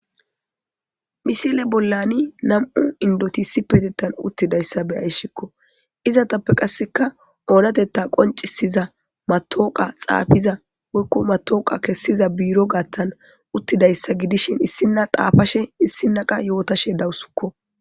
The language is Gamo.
misile bollani nam7u indotisi petettan uttidayssa beyayshikko izatappe qasseka oonatetta qoncisiza matooqa xaafiza woykko matooqa kessiza biiro gaattan uttidayssa gidishin issinna xaafashe issinaqa yootashe dawusukko